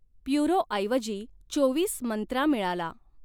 प्युरोऐवजी चोवीस मंत्रा मिळाला.